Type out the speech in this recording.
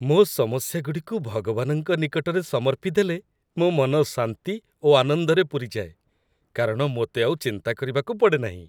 ମୋ' ସମସ୍ୟାଗୁଡ଼ିକୁ ଭଗବାନଙ୍କ ନିକଟରେ ସମର୍ପିଦେଲେ ମୋ' ମନ ଶାନ୍ତି ଓ ଆନନ୍ଦରେ ପୂରିଯାଏ, କାରଣ ମୋତେ ଆଉ ଚିନ୍ତା କରିବାକୁ ପଡ଼େ ନାହିଁ।